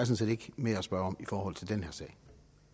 set ikke mere at spørge om i forhold til den